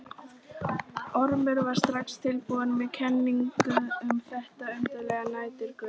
Ormur var strax tilbúinn með kenningu um þetta undarlega næturgauf.